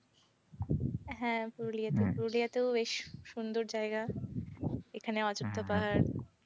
হ্যাঁ, পুরুলিয়াতে, পুরুলিয়াতে বেশ সুন্দর জায়গা, এখানে অজন্তা পাহাড় আছে।